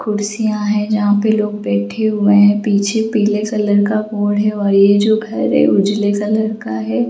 कुर्सियां है जहां पे लोग बैठे हुए हैं पीछे पीले कलर का बोर्ड है और ये जो घर है उजले कलर का है।